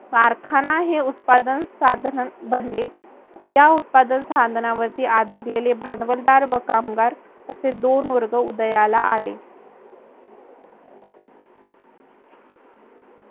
कारखाना उत्पादन साधन बनले. या उत्पादन साधनावरती आधारलेले भांडवलदार व कामगार असे दोन वर्ग उदयाला आले.